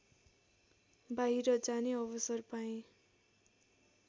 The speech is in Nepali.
बाहिर जाने अवसर पाएँ